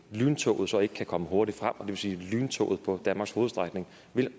lyntoget så ikke kan komme hurtigt frem og det vil sige at lyntoget på danmarks hovedstrækning